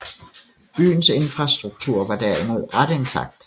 Byens infrastruktur var derimod ret intakt